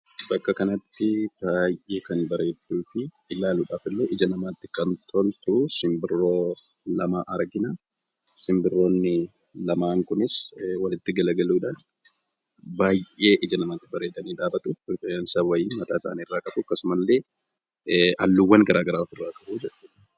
Bakka kanatti baay'ee kan bareedduu fi ilaaluudhaaf illee ija namaatti kan toltu simbirroo lama argina. Sinbirrroonni lamaan kunis walitti gara galuudhaan baay'ee ija namaatti bareedanii dhaabatu. Rifeensa wayiis mataa isaanii irraa qabu. Akkasumas illee qaama isaanii irraa halluuwwan garaa garaa ofirraa qabu.